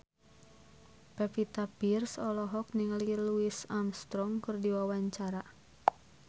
Pevita Pearce olohok ningali Louis Armstrong keur diwawancara